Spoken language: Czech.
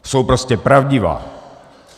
Jsou prostě pravdivá.